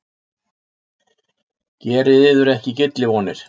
Gerið yður ekki gyllivonir!